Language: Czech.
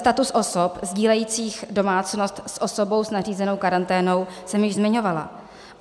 Status osob sdílejících domácnost s osobou s nařízenou karanténou jsem již zmiňovala.